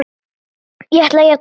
Ég ætla að játa núna.